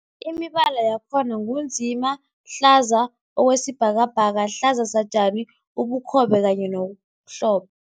Imibala yakhona ngu nzima, hlaza okwesibhakabhaka, hlaza satjani, ubukhobe kanye nomhlo